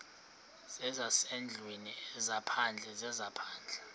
zezasendlwini ezaphandle zezaphandle